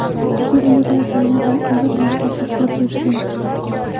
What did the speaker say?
Bizni ulug‘laganlar ham ulug‘ yoshlarga kirib yursin!”.